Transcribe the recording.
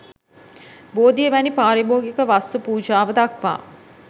බෝධිය වැනි පාරිභෝගික වස්තු පූජාව දක්වා